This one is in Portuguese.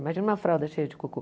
Imagina uma fralda cheia de cocô.